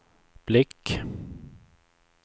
blick